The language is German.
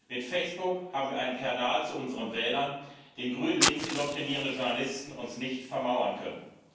Mit Facebook haben wir einen Kanal zu unseren Wählern, den grünlinks indoktrinierende Journalisten uns nicht vermauern können.